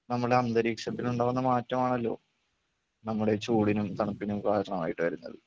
നമ്മുടെ അന്തരീക്ഷത്തിനുണ്ടാവുന്ന മാറ്റമാണല്ലോ നമ്മുടെ ചൂടിനും തണുപ്പിനും കാരണമായിട്ട് വരുന്നത്.